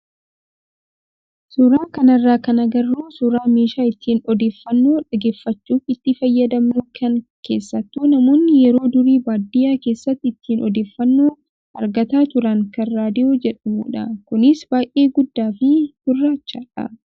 Suuraa kanarraa kan agarru suuraa meeshaa ittiin odeeffannoo dhaggeeffachuuf itti fayyadamnu kan keessattuu namoonni yeroo durii baadiyyaa keessatti ittiin odeeffannoo argataa turan kan raadiyoo jedhamudha. Kunis baay'ee guddaa fi gurraachadha.